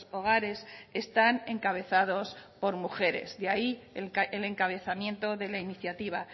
hogares están encabezados por mujeres de ahí el encabezamiento de la iniciativa